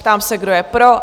Ptám se, kdo je pro?